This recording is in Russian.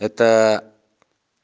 это